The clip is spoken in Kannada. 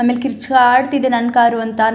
ಆಮೇಲೆ ಕಿರುಚಾಡ್ತಿದ್ದೆ ನನ್ನ ಕಾರು ಅಂತ --